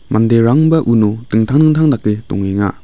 manderangba uno dingtang dingtang dake dongenga.